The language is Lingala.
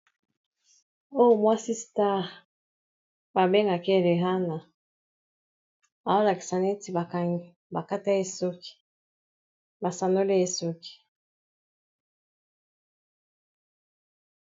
Oyo mwasi star ba bengake Rihanna aolakisa neti bakata ye suki basanola ye esuki.